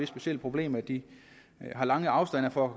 specielle problem at de har lange afstande for at